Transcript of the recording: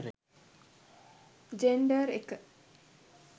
gender එක